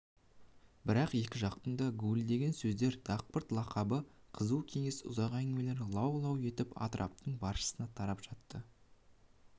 бірақ екі жақтың да гуілдеген сөздер дақпырт-лақабы қызу кеңес ұзақ әңгімелері лау-лау етіп атраптың баршасына тарап жатты